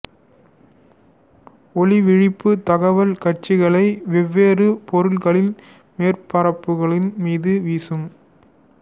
ஒளிவீழ்ப்பி தகவல் காட்சிகளை வெவ்வேறு பொருட்களின் மேற்பரப்புகளின் மீது வீசும்